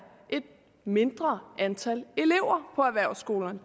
et mindre antal elever på erhvervsskolerne